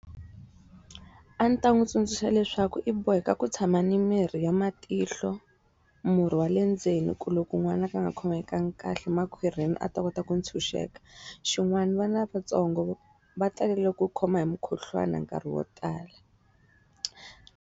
A ndzi ta n'wi tsundzuxa leswaku i boheka ku tshama ni mirhi ya matihlo, murhi wa le ndzeni, ku loko n'wana ka nga khomekangi kahle makhwiri a ta kota ku ntshunxeka. Xin'wani vana lavatsongo va talele ku khoma hi mukhuhlwana nkarhi wo tala.